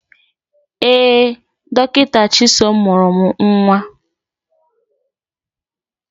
Ee, Dọkịta Chisom mụrụ m nwa m.